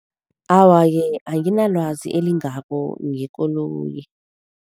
Awa-ke anginalwazi elingako ngekoloyi.